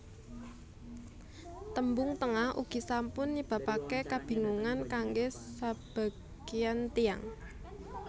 Tembung Tengah ugi sampun nyebabaken kabingungan kanggé sabagéyan tiyang